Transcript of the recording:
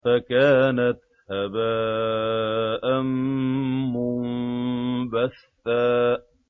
فَكَانَتْ هَبَاءً مُّنبَثًّا